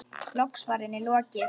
Loks var henni lokið.